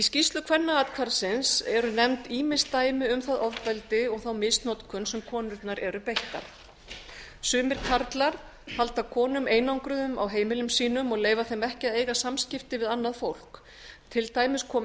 skýrslu kvennaathvarfsins eru nefnd ýmis dæmi um það ofbeldi og misnotkun sem konurnar eru beittar sumir karlar halda konum einangruðum á heimilum sínum og leyfa þeim ekki að eiga samskipti við annað fólk til dæmis kom